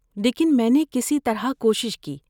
لیکن میں نے کسی طرح کوشش کی۔